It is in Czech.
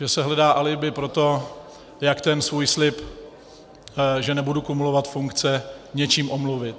Že se hledá alibi pro to, jak ten svůj slib, že nebudu kumulovat funkce, něčím omluvit.